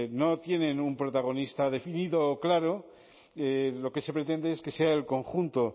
no tienen un protagonista definido o claro lo que se pretende es que sea el conjunto